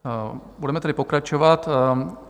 Budeme tedy pokračovat.